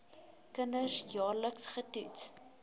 kinders jaarliks getoets